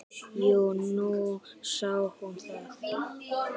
"""Jú, nú sá hún það."""